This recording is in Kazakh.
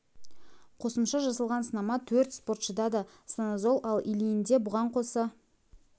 қосымша жасалған сынама төрт спортшыда да станозол ал ильинде бұған қоса дегидрохлорометилтестостерон және чиншанлода оксандролон барын